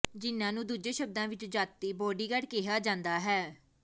ਜਿਨਾਂ ਨੂੰ ਦੂਜੇ ਸ਼ਬਦਾਂ ਵਿੱਚ ਜਾਤੀ ਬਾਡੀਗਾਰਡ ਕਿਹਾ ਜਾਂਦਾ ਹੈ